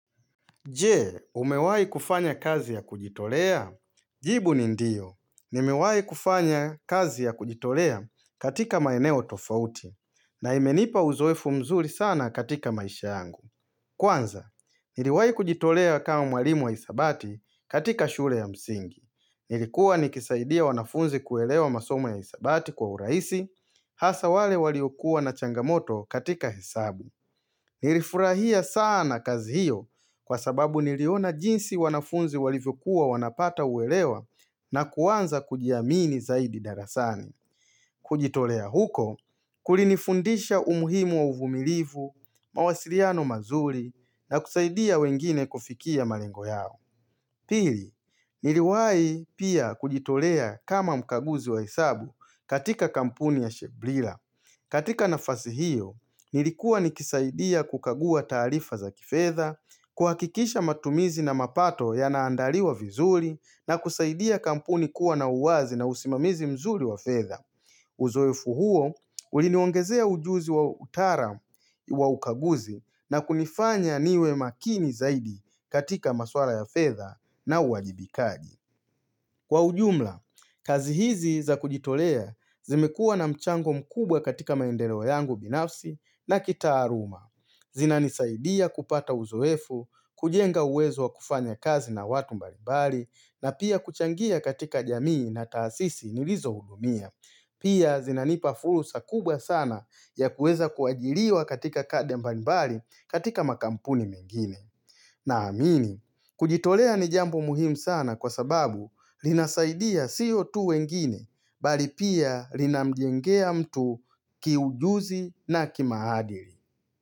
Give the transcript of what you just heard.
Jee, umewai kufanya kazi ya kujitolea? Jibu ni ndiyo. Nimewai kufanya kazi ya kujitolea katika maeneo tofauti. Na imenipa uzoefu mzuri sana katika maisha yangu. Kwanza, niliwai kujitolea kama mwalimu wa isabati katika shule ya msingi. Nilikuwa nikisaidia wanafunzi kuelewa masomo ya isabati kwa uraisi. Hasa wale waliokuwa na changamoto katika hesabu. Nilifurahia sana kazi hiyo kwa sababu niliona jinsi wanafunzi walivyokuwa wanapata uelewa na kuwanza kujiamini zaidi darasani. Kujitolea huko, kulinifundisha umuhimu wa uvumilivu, mawasiliano mazuri na kusaidia wengine kufikia malengo yao. Pili, niliwai pia kujitolea kama mkaguzi wa hesabu katika kampuni ya Sheblila. Katika nafasi hiyo, nilikuwa nikisaidia kukagua taarifa za kifedha, kuhakikisha matumizi na mapato ya naandaliwa vizuli na kusaidia kampuni kuwa na uwazi na usimamizi mzuri wa fedha. Uzoefu huo, uliniongezea ujuzi wa utaram wa ukaguzi na kunifanya niwe makini zaidi katika maswala ya fedha na uwajibikaji. Kwa ujumla, kazi hizi za kujitolea zimekua na mchango mkubwa katika maendeleo yangu binafsi na kitaaluma. Zina nisaidia kupata uzoefu, kujenga uwezo wa kufanya kazi na watu mbalibali na pia kuchangia katika jamii na taasisi nilizo hudumia. Pia zina nipa fursa kubwa sana ya kueza kuajiriwa katika kade mbalibali katika makampuni mengine. Na amini, kujitolea ni jambu muhimu sana kwa sababu linasaidia sio tu wengine, bali pia linamjengea mtu kiujuzi na kimaadili.